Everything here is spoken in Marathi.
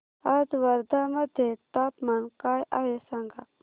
आज वर्धा मध्ये तापमान काय आहे सांगा